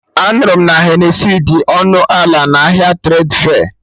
Anụrụ m na Henesi dị ọnụ ala na ahịa Tredfe